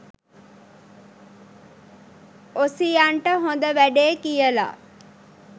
ඔසියන්ට හොඳ වැඩේ කියලා